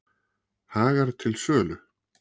Hagar til sölu